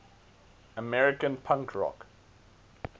american punk rock